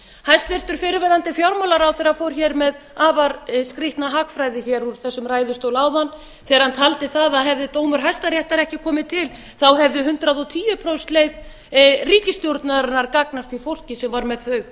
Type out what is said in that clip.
hæstvirtur fyrrverandi fjármálaráðherra fór hér með afar skrýtna hagfræði hér úr þessum ræðustól áðan þegar hann taldi það að hefði dómur hæstaréttar ekki komið til hefði hundrað og tíu prósenta leið ríkisstjórnarinnar gagnast því fólki sem var með þau